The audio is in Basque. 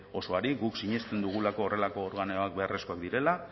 osoari guk sinesten dugulako horrelako organoak beharrezkoak direla